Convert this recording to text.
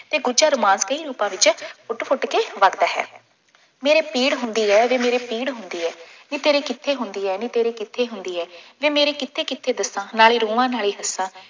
ਅਤੇ ਗੁੱਜਰ ਮਾਸਕੀ ਹੀ ਲੋਕਾਂ ਵਿੱਚ ਫੁੱਟ ਫੁੱਟ ਕੇ ਵਰ੍ਹਦਾ ਹੈ। ਮੇਰੇ ਪੀੜ੍ਹ ਹੁੰਦੀ ਹੈ ਵੇ ਮੇਰੇ ਪੀੜ੍ਹ ਹੁੰਦੀ ਹੈ। ਨੀ ਤੇਰੇ ਕਿੱਥੇ ਹੁੰਦੀ ਹੈ ਨੀ ਤੇਰੇ ਕਿੱਥੇ ਹੁੰਦੀ ਹੈ, ਵੇ ਮੇਰੇ ਕਿੱਥੇ ਕਿੱਥੇ ਦੱਸਾਂ, ਨਾਲੇ ਰੋਵਾਂ ਨਾਲੇ ਹੱਸਾਂ,